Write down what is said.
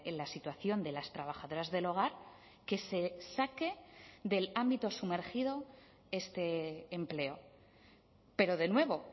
la situación de las trabajadoras del hogar que se saque del ámbito sumergido este empleo pero de nuevo